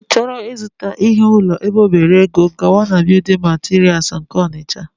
ị chọọ ịzụta ihe ụlọ ebe ọ bere ego, gawa na building materials nke Ọnịtsha